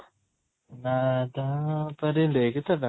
ଏଇ ଗୀତ ଟା?